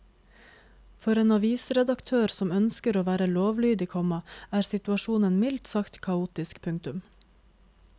For en avisredaktør som ønsker å være lovlydig, komma er situasjonen mildt sagt kaotisk. punktum